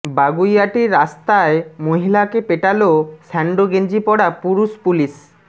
বাগুইআটির রাস্তায় মহিলাকে পেটালো স্যান্ডো গেঞ্জি পরা পুরুষ পুলিশ